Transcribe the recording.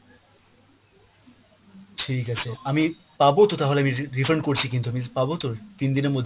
ঠিক আছে আমি পাবো তো তাহলে আমি রি~ refund করছি কিন্তু, আমি পাবো তো তিন দিন এর মধ্যে?